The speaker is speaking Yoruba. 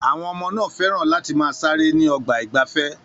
Àwọn ọmọ náà fẹ́ràn láti máa ṣeré ní ọgbà ìgbafẹ́.